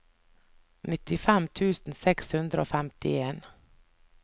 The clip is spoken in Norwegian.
nittifem tusen seks hundre og femtien